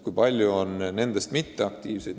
Kui paljud on nendest mitteaktiivsed?